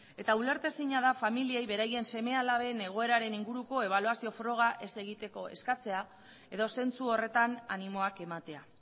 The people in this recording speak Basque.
eta ulertezina da familiei beraien seme alaben egoeraren inguruko ebaluazio froga ez egiteko eskatzea edo zentzu horretan animoak ematea